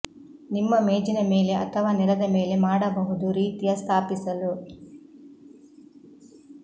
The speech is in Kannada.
ನಿಮ್ಮ ಮೇಜಿನ ಮೇಲೆ ಅಥವಾ ನೆಲದ ಮೇಲೆ ಮಾಡಬಹುದು ರೀತಿಯ ಸ್ಥಾಪಿಸಲು